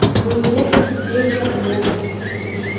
ну если тебе не в лом